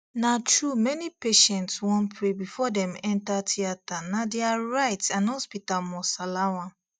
na true many patients wan pray before dem enter theatrena dia right and hospital must allow am